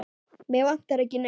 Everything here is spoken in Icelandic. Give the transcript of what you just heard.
Mig vantar ekki neitt.